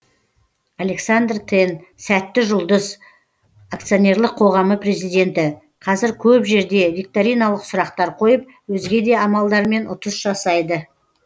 александр тен сәтті жұлдыз акционерлік қоғамы президенті қазір көп жерде викториналық сұрақтар қойып өзге де амалдармен ұтыс жасайды